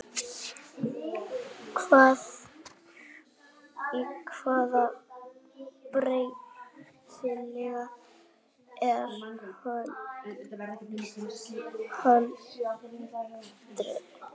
Í hvaða bæjarfélagi er haldin humarhátíð?